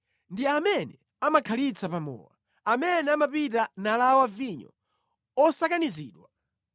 Ndi amene amakhalitsa pa mowa, amene amapita nalawa vinyo osakanizidwa.